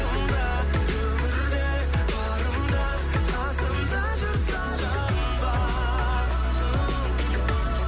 өмірде барымда қасымда жүр сағынба